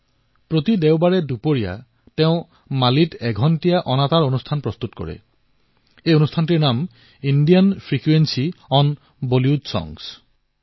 প্ৰত্যেক দেওবাৰে দুপৰীয়াৰ পিছত তেওঁ মালীত এক ঘণ্টাৰ ৰেডিঅ কাৰ্যসূচী প্ৰস্তুত কৰে আৰু এই কাৰ্যসূচীৰ নাম হল Indian frequency on Bollywood songs